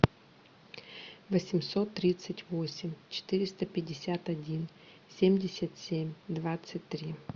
восемьсот тридцать восемь четыреста пятьдесят один семьдесят семь двадцать три